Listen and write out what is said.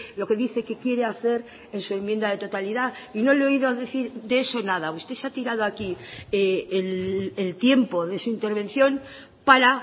lo que dice que quiere hacer en su enmienda de totalidad y no le he oído decir de eso nada usted se ha tirado aquí el tiempo de su intervención para